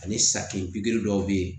Ani sakiri dɔw be yen